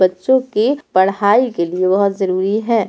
बच्चों के पढ़ाई के लिए बहुत जरुरी है।